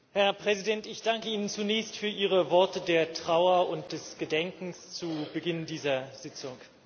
Herr Präsident! Ich danke Ihnen zunächst für Ihre Worte der Trauer und des Gedenkens zu Beginn dieser Sitzung.